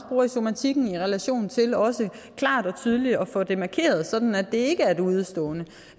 bruger i somatikken i relation til også klart og tydeligt at få det markeret sådan at det ikke er et udestående